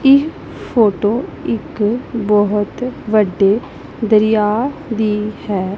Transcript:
ਇਹ ਫੋਟੋ ਇੱਕ ਬਹੁਤ ਵੱਡੇ ਦਰਿਆ ਦੀ ਹੈ।